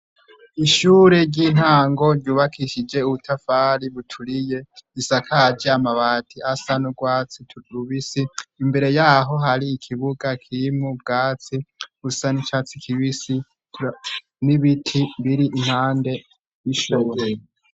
Ishure ry'intango ryubakishije ubutafari buturiye isakaje amabati asa n'urwatsi rubisi imbere yaho hari ikibuga kimwu bwatsi gusa nicatsi kibisi n'ibiti biri impande ishoreye.